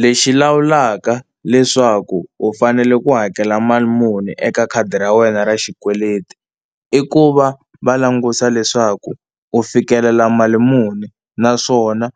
Lexi lawulaka leswaku u fanele ku hakela mali muni eka khadi ra wena ra xikweleti i ku va va langusa leswaku u fikelela mali muni, naswona